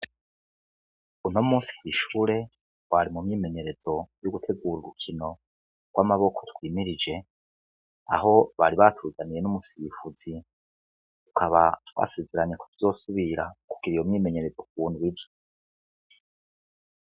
Unomusi kwi shure twari mu myimenyerezo yo gutegura urukino gw' amaboko gwimirije aho bari batuzaniye n' umusirifuzi tukaba twasezeranye ko tuzosubira kugira iyo myimenyerezo ku ndwi iza.